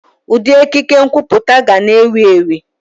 Ụdị ekike nkwuputa ga na-ewu ewu.